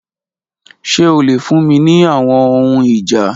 Ṣe o le fun mi ni awọn ohun ija?